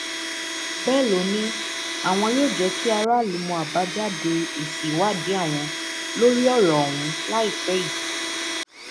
bẹẹ ló ní àwọn yóò jẹ kí aráàlú mọ àbájáde èsì ìwádìí àwọn lórí ọrọ ọhún láìpẹ yìí